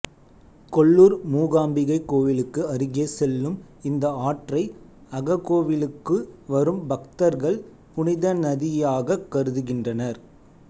கொல்லூர் மூகாம்பிகை கோயிலுக்கு அருகே செல்லும் இந்த ஆற்றை அககோவிலுக்கு வரும் பக்தர்கள் புனிதநதியாகக் கருதுகின்றனர்